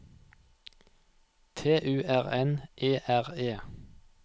T U R N E R E